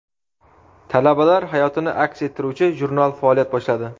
Talabalar hayotini aks ettiruvchi jurnal faoliyat boshladi.